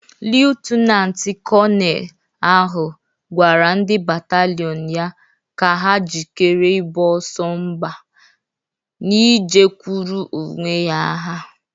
Leftinant kọnel ahụ gwara ndị batalọn ya ka ha jikere iboso mba Nije kwụrụ owe ya agha.